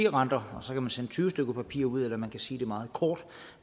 renter og så kan man sende tyve stykker papir ud eller man kan sige meget kort